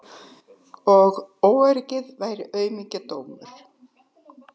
Og óöryggi væri aumingjadómur.